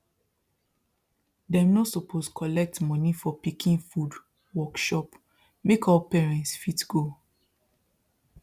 dem no suppose collect money for pikin food workshop make all parents fit go